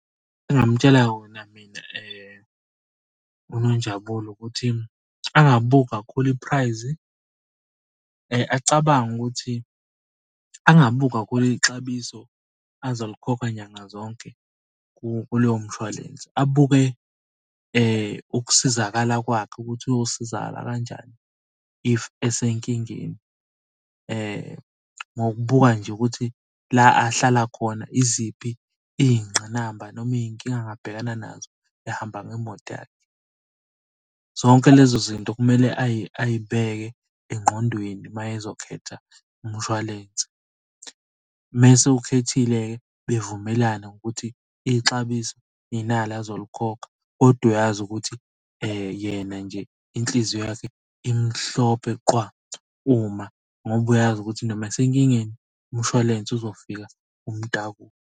Engingamtshela khona mina uNonjabulo ukuthi angabuki kakhulu iphurayizi, acabange ukuthi angabuki kahulu ixabiso, azolikhokha nyanga zonke kulowo mshwalense. Abuke ukusizakala kwakhe ukuthi uyosizakala kanjani if esenkingeni. Ngokubuka nje ukuthi la ahlala khona iziphi iy'ngqinamba noma iy'nkinga angabhekana nazo ehamba ngemoto yakhe. Zonke lezo zinto kumele ayibheke engqondweni uma ezokhetha umshwalense. Uma esewukhethile bevumelane ngokuthi ixabiso inali azolikhokha, kodwa uyazi ukuthi yena nje inhliziyo yakhe imhlophe qwa. Uma ngoba uyazi ukuthi noma esenkingeni umshwalense uzofika umtakule.